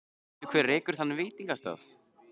Og veistu hver rekur þann veitingastað?